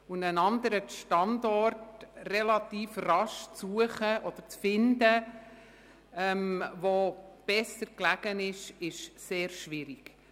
Einen besser gelegenen Standort relativ rasch zu finden, ist sehr schwierig.